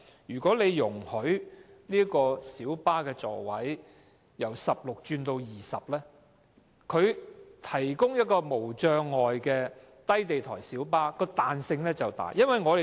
如果政府容許小巴座位由16個改為20個，營運商提供無障礙的低地台小巴的彈性便會較大。